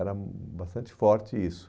Era bastante forte isso.